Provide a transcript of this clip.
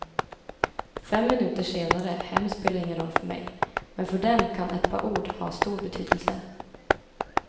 Fem minuter senare hem spelar ingen roll för mig, men för dem kan ett par ord ha stor betydelse.